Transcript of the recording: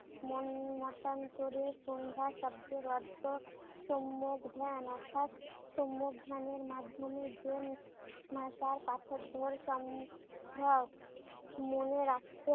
মন মতান্তরে সন্ধ্যা শব্দের অর্থ সম্যক জ্ঞান অর্থাৎ সম্যক জ্ঞানের মাধ্যমে যে ভাষার পাঠোদ্ধার সম্ভব। মনে রাখতে